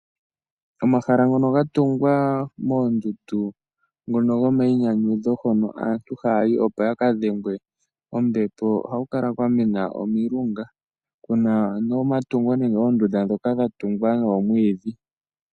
Omahala ngono ga tungwa moondundu hono aantu haya yi opo ya ka dhengwe kombepo ohaku kala kwa mena omilunga, ku na omatungo nenge oondunda ndhoka dha tungwa dhoomwiidhi.